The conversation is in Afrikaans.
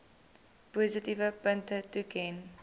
positiewe punte toeken